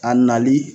A nali